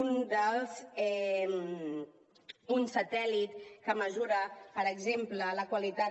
un satèl·lit que mesura per exemple la qualitat